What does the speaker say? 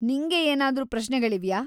ನಿಂಗೆ ಏನಾದ್ರೂ ಪ್ರಶ್ನೆಗಳಿವ್ಯಾ?